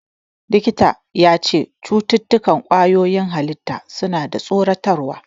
Likitan ya ce "Cututtukan ƙwayoyin halitta suna da tsoratarwa".